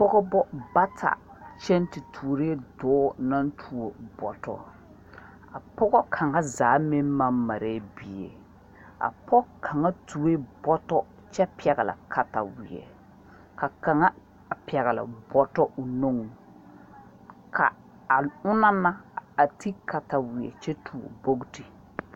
Pɔgbo bata kyen te tuoree doɔ nang tuo borɔ pɔgo kanga zaa meng mang maree bie a poɔ kanga tuo bɔto kye pɛgle katawei ka kanga pɛgle bɔto ɔ nung ka a ɔngna na a te katawei kye tuo bɔgti.